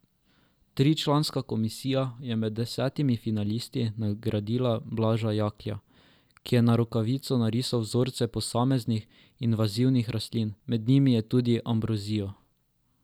Tričlanska komisija je med desetimi finalisti nagradila Blaža Jaklja, ki je na rokavico narisal vzorce posameznih invazivnih rastlin, med njimi je tudi ambrozijo.